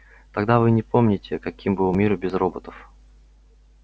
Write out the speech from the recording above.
тогда вы не помните каким был мир без роботов